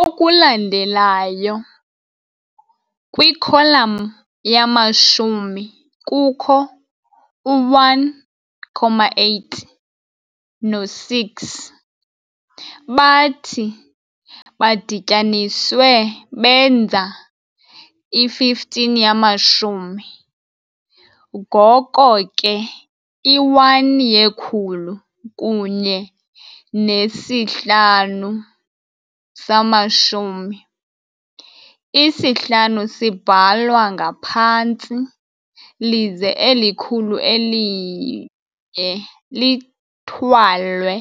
Okulandelayo, kwikholam yamashumi kukho u-1, 8 no-6 bathi badityaniswe benza i-15 yamashumi, ngoko ke i-1 yekhulu kunye nesi-5 samashumi, isi-5 sibhalwa ngaphantsi lize eli khulu eli-1 lithwalwe